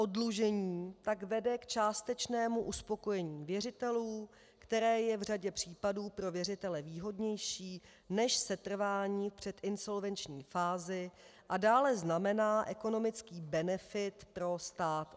Oddlužení pak vede k částečnému uspokojení věřitelů, které je v řadě případů pro věřitele výhodnější než setrvání v předinsolvenční fázi a dále znamená ekonomický benefit pro stát.